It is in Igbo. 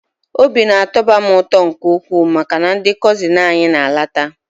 O bi na-atọba m ụtọ nke ukwu maka na ndị kọzị anyị na-alata.